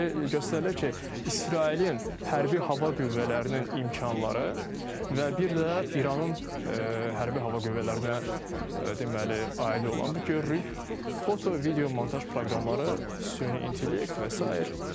Deməli, göstərilir ki, İsrailin Hərbi Hava Qüvvələrinin imkanları və bir də İranın Hərbi Hava Qüvvələrinə, deməli, aid olan bu görürük foto, video, montaj proqramları, süni intellekt və sair.